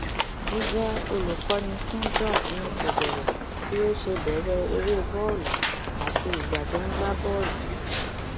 jíjẹ olùkọni fún george ni kò bẹrẹ bí ó ṣe bẹrẹ eré bọọlù àti ìgbà tó ń gbá bọọlù